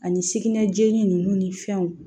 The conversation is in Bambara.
Ani sugunɛ jenini ninnu ni fɛnw